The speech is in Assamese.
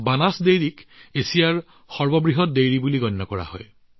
কলৰ দুগ্ধক এছিয়াৰ ভিতৰতে সৰ্ববৃহৎ দুগ্ধ প্ৰতিষ্ঠান বুলি গণ্য কৰা হয়